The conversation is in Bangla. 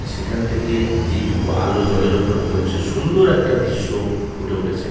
সেখান থেকে যেইটুকু আলো জলের ওপরে পড়ছে সুন্দর একটা দৃশ্য ফুটে উঠেছে ।